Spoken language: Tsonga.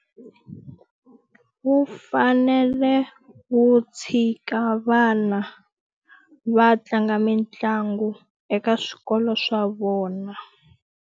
Wu fanele wu tshika vana va tlanga mitlangu eka swikolo swa vona.